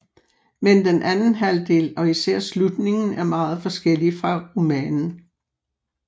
Men den anden halvdel og især slutningen er meget forskelig fra romanen